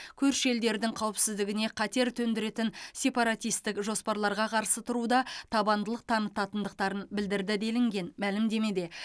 көрші елдердің қауіпсіздігіне қатер төндіретін сепаратистік жоспарларға қарсы тұруда табандылық танытатындықтарын білдірді делінген мәлімдемеде